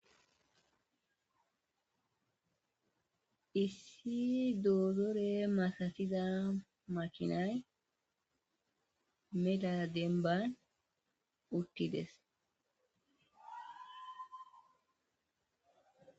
issi doozore masatiza makinay meda denban uttides